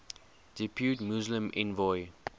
depute muslim envoy